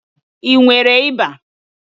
I nwere ịba?